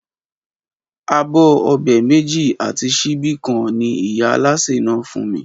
Abó̩ o̩bè̩ méjì àti s̩íbí kan ni ìyá alásè náà fún mi